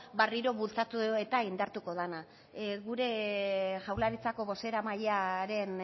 berriro bultzatu eta indartuko dena gure jaurlaritzako bozeramailearen